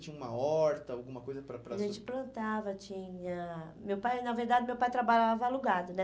Tinha uma horta, alguma coisa para para... A gente plantava, tinha... Meu pai, na verdade, meu pai trabalhava alugado, né?